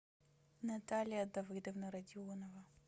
наталья давыдовна родионова